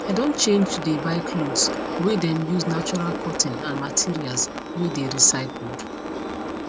i don change to dey buy cloths whey them use natural cotton and materials whey dey recycled